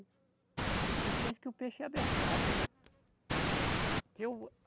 Eles pensam que o peixe é abestado, é. Porque o